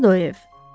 Hardadır o ev?